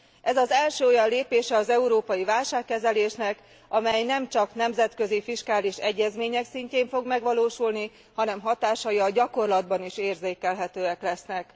Ez az első olyan lépése az európai válságkezelésnek, amely nemcsak nemzetközi fiskális egyezmények szintjén fog megvalósulni, hanem hatásai a gyakorlatban is érzékelhetőek lesznek.